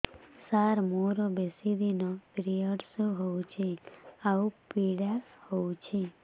ସାର ମୋର ବେଶୀ ଦିନ ପିରୀଅଡ଼ସ ହଉଚି ଆଉ ପୀଡା ହଉଚି